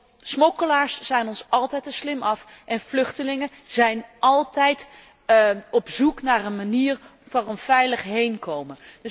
Want smokkelaars zijn ons altijd te slim af en vluchtelingen zijn altijd op zoek naar een manier voor een veilig heenkomen.